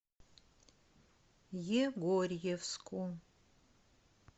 егорьевску